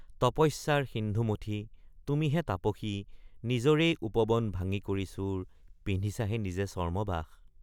তপস্যাৰ সিন্ধু মথি তুমিহে তাপসী নিজৰেই উপবন ভাঙ্গি কৰি চুৰ পিন্ধিছাহে নিজে চৰ্ম্মবাস।